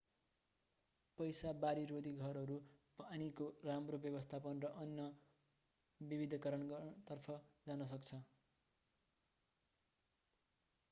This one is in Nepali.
पैसा बाढीरोधी घरहरू पानीको राम्रो व्यवस्थापन र अन्न विविधीकरणतर्फ जान सक्दछ